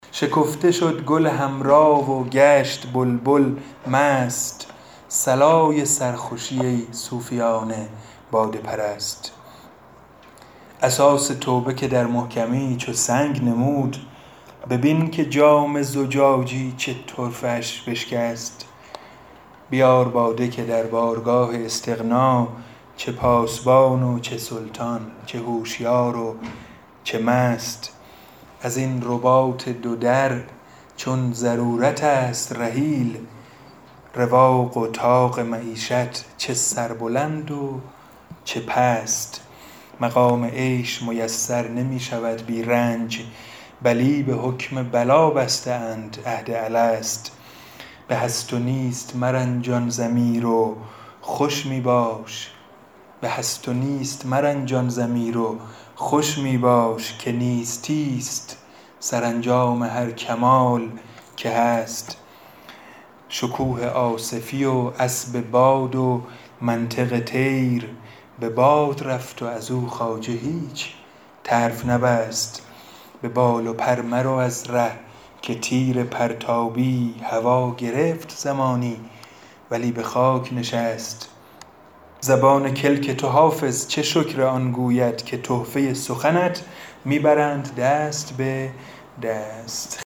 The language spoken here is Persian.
شکفته شد گل حمرا و گشت بلبل مست صلای سرخوشی ای صوفیان باده پرست اساس توبه که در محکمی چو سنگ نمود ببین که جام زجاجی چه طرفه اش بشکست بیار باده که در بارگاه استغنا چه پاسبان و چه سلطان چه هوشیار و چه مست از این رباط دو در چون ضرورت است رحیل رواق و طاق معیشت چه سربلند و چه پست مقام عیش میسر نمی شود بی رنج بلی به حکم بلا بسته اند عهد الست به هست و نیست مرنجان ضمیر و خوش می باش که نیستی ست سرانجام هر کمال که هست شکوه آصفی و اسب باد و منطق طیر به باد رفت و از او خواجه هیچ طرف نبست به بال و پر مرو از ره که تیر پرتابی هوا گرفت زمانی ولی به خاک نشست زبان کلک تو حافظ چه شکر آن گوید که گفته سخنت می برند دست به دست